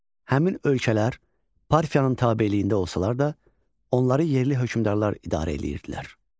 Həmin ölkələr Parfiyanın tabeliyində olsalar da, onları yerli hökmdarlar idarə eləyirdilər.